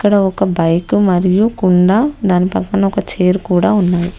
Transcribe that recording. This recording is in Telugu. ఇద ఒక బైక్ మరియు కుండా దాని పక్కన ఒక చేరు కూడా ఉంది.